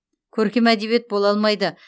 көркем әдебиет бола алмайды